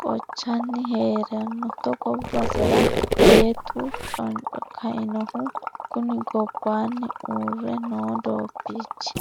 kochani heerano togo basera beettu canco kianoho kuni gobbanni uurre no doobbichi